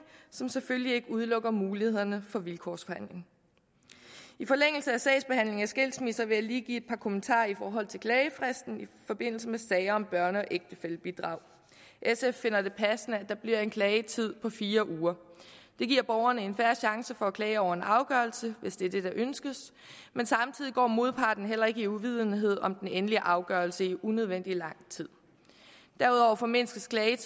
som selvfølgelig ikke udelukker mulighederne for vilkårsforhandling i forlængelse af sagsbehandlingen af skilsmisser vil jeg lige give et par kommentarer i forhold til klagefristen i forbindelse med sager om børne og ægtefællebidrag sf finder det passende at der bliver en klagetid på fire uger det giver borgerne en fair chance for at klage over en afgørelse hvis det er det der ønskes men samtidig går modparten heller ikke i uvidenhed om den endelige afgørelse i unødvendig lang tid derudover formindsker en